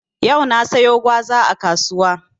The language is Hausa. Yau na siyo gwaza a kasuwa.